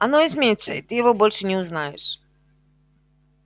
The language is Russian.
оно изменится и ты его больше не узнаешь